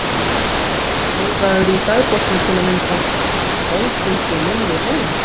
Milla spurði: Skrifarðu í dagbókina til að mynda: Í kvöld fylgdi ég Millu heim?